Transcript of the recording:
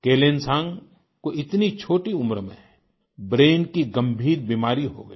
केलेनसांग को इतनी छोटी उम्र में ब्रेन की गंभीर बीमारी हो गई